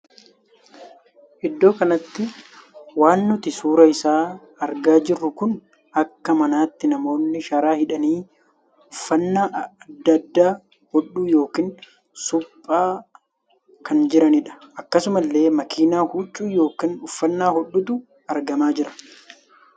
Iddoo kanatti waan nuti suuraa isaa argaa jirru kun akka manatti namoonni sharaa hidhanii uffannaa addaa addaa hodhuu ykn suphaa kan jiranidha. akkasuma illee makiinaa huccuu ykn uffannaa hodhutu argamaa jira.